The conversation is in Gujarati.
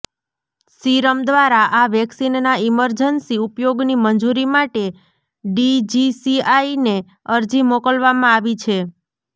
સીરમ દ્વારા આ વેકિસનના ઇમરજન્સી ઉપયોગની મંજૂરી માટે ડીજીસીઆઈ ને અરજી મોકલવામાં આવી છે